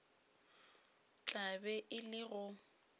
tla be e le go